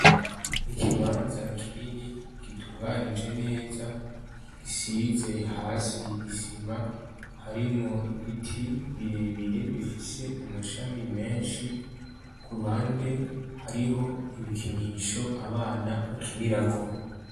Ikibanza kinini gitunganije neza gisize hasi isima harimwo ibiti birebire bifise amashami menshi, ku ruhande hariho ibikinisho abana bakinirako.